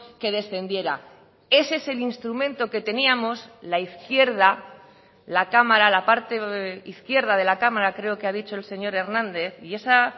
que descendiera ese es el instrumento que teníamos la izquierda la cámara la parte izquierda de la cámara creo que ha dicho el señor hernández y esa